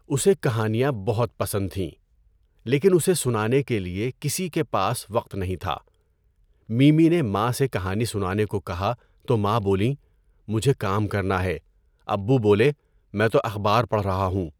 اسے کہانیاں بہت پسند تھیں، لیکن اسے سنانے کے لیے کسی کے پاس وقت نہیں تھا۔ میمی نے ماں سے کہانی سنانے کو کہا تو ماں بولیں، مجھے کام کرنا ہے، ابّو بولے، میں تو اخبار پڑھ رہا ہوں۔